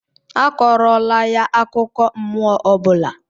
Akọrọla ya akụkọ mmụọ ọ bụla!